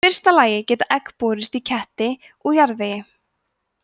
í fyrsta lagi geta egg borist í ketti úr jarðvegi